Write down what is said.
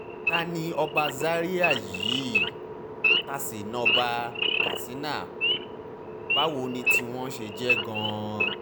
ta ni ọba ọba zaria yìí ta sì ń ọba katsina báwo ni tiwọn ti jẹ́ gan-an